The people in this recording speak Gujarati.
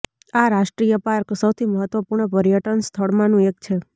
આ રાષ્ટ્રીય પાર્ક સૌથી મહત્વપૂર્ણ પર્યટન સ્થળમાંનું એક છે